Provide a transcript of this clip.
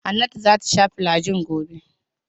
Hannatu za ta sha filajil gobe.